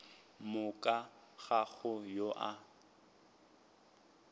moka ga go yo a